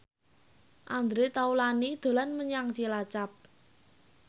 Andre Taulany dolan menyang Cilacap